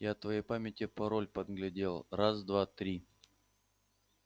я от твоей памяти пароль подглядел раз-два-три